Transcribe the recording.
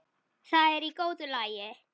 Það er í góðu lagi